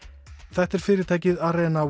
þetta er fyrirtækið